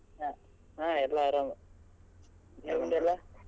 ಹಾ ಎಲ್ಲ ಆರಾಮ್ ನಿಮ್ದೆಲ್ಲ .